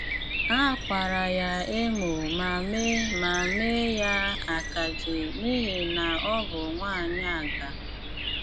Á kwárà yá émó mà mee mà mee ya akaje n’íhì ná ọ́ bụ́ nwááńyị́ ágà.